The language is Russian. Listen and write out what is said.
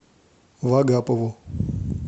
вагапову